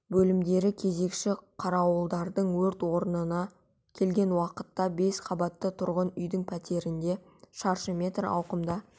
бөлімдері кезекші қарауылдардың өрт орнына келген уақытта бес қабатты тұрғын үйдің пәтерінде шаршы метр ауқымда